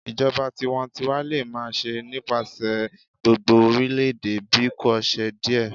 Ijọba tiwantiwa le ma ṣe nipasẹ gbogbo orilẹ-ede bikoṣe diẹ